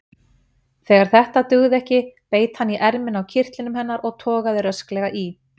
Þegar þetta dugði ekki beit hann í ermina á kyrtlinum hennar og togaði rösklega í.